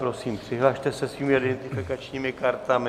Prosím, přihlaste se svými identifikačními kartami.